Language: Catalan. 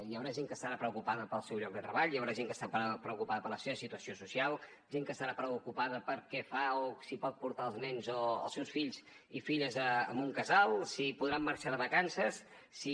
hi haurà gent que estarà preocupada pel seu lloc de treball hi haurà gent que estarà preocupada per la seva situació social gent que estarà preocupada per què fa o si pot portar els nens o els seus fills i filles a un casal si podran marxar de vacances si